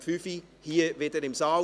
– Um 17 Uhr wieder hier im Saal.